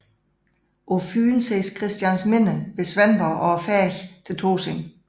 På Fyn ses Christiansminde ved Svendborg og færgen til Tåsinge